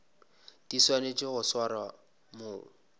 di swanetšego go swarwa mo